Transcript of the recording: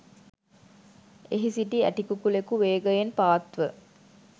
එහි සිටි ඇටිකුකුළෙකු වේගයෙන් පාත් ව